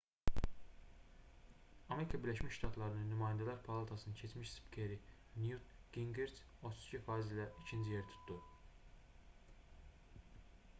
amerika birləşmiş ştatlarının nümayəndələr palatasının keçmiş spikeri nyut qinqriç 32% ilə ikinci yeri tutdu